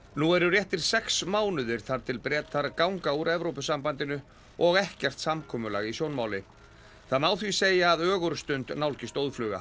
nú eru réttir sex mánuðir þar til Bretar ganga úr Evrópusambandinu og ekkert samkomulag í sjónmáli það má því segja að ögurstund nálgist óðfluga